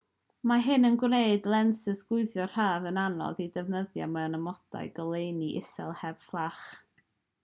mae hyn yn gwneud lensys chwyddo rhad yn anodd eu defnyddio mewn amodau goleuni isel heb fflach